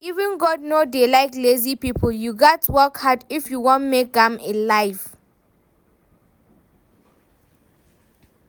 Even God no dey like lazy people, you gats work hard if you wan make am in life